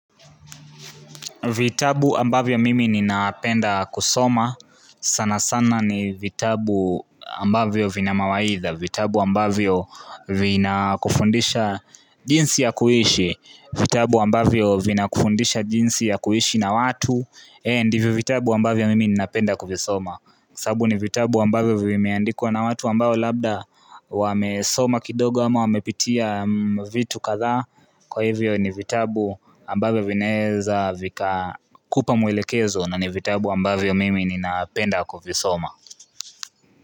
Vitabu ambavyo mimi ninapenda kusoma, sana sana ni vitabu ambavyo vina mawaidha, vitabu ambavyo vina kufundisha jinsi ya kuishi, vitabu ambavyo vina kufundisha jinsi ya kuishi na watu, eeh ndivyo vitabu ambavyo mimi ninapenda kuvisoma. Sababu ni vitabu ambavyo vimeandikwa na watu ambao labda wamesoma kidogo ama wamepitia vitu kadhaa Kwa hivyo ni vitabu ambavyo vinaweza vikakupa mwelekezo na ni vitabu ambavyo mimi ninapenda kuvisoma.